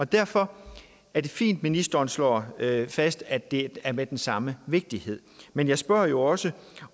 derfor er det fint at ministeren slår fast at det er med den samme vigtighed men jeg spørger jeg også